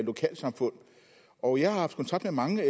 lokalsamfund og jeg har haft kontakt med mange